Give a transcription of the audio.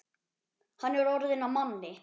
Hann er orðinn að manni.